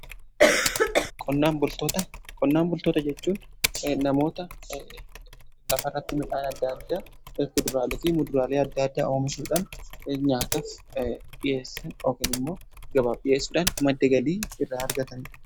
Qonnaan bultoota jechuun namoota lafa irratti midhaan adda addaa kuduraalee fi muduraalee adda addaa oomishuudhaan nyaataf dhiyeessan yookiin immoo gabaa dhiyeessudhaan madda galii irraa argataniidha.